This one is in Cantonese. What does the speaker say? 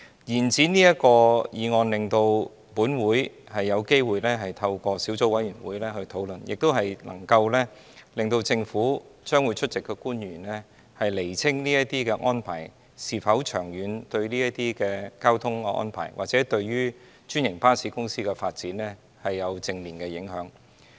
延展審議這項議案的期限，令本會有機會透過小組委員會進行討論，亦能夠讓出席的政府官員釐清這些安排是否長遠對交通或者對專營巴士的發展有正面影響。